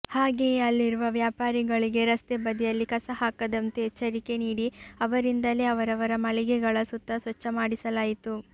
ಹಾಗೆಯೇ ಅಲ್ಲಿರುವ ವ್ಯಾಪಾರಿಗಳಿಗೆ ರಸ್ತೆ ಬದಿಯಲ್ಲಿ ಕಸಹಾಕದಂತೆ ಎಚ್ಚರಿಕೆ ನೀಡಿ ಅವರಿಂದಲೇ ಅವರವರ ಮಳಿಗೆಗಳ ಸುತ್ತ ಸ್ವಚ್ಛ ಮಾಡಿಸಲಾಯಿತು